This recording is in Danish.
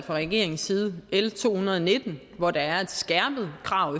regeringens side har l to hundrede og nitten hvor der er et skærpet krav